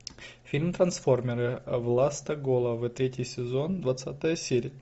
фильм трансформеры властоголовы третий сезон двадцатая серия